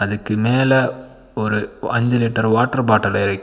அதுக்கு மேல ஒரு அஞ்சு லிட்டர் வாட்டர் பாட்டில் இருக்--